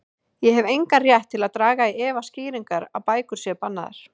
Ég hef engan rétt til að draga í efa skýringarnar á að bækur séu bannaðar.